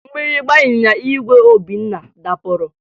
Mgbịrịmgba ịnyịnya igwe Obinna dapụrụ